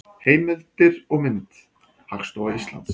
Heimildir og mynd: Hagstofa Íslands.